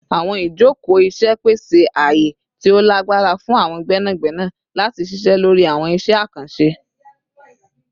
Awọn ijoko iṣẹ pese aaye ti o lagbara fun awọn gbẹnagbẹna lati ṣiṣẹ lori awọn iṣẹ akanṣe